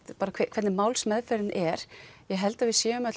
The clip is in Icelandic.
hvernig málsmeðferðin er ég held að við séum öll